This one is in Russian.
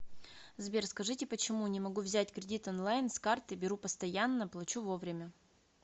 сбер скажите почему не могу взять кредит онлаин с карты беру постоянна плочу вовремя